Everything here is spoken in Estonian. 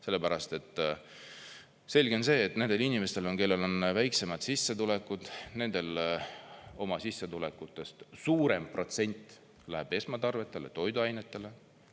Sellepärast, et selge on see, et nendel inimestel, kellel on väiksemad sissetulekud, nendel oma sissetulekutest suurem protsent läheb esmatarvetele, toiduainetele.